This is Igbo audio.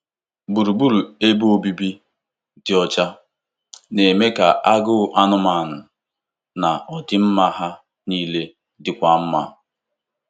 Gburugburu ebe obibi dị ọcha na-eme ka agụụ anụmanụ na ọdịmma ha niile dịkwuo mma.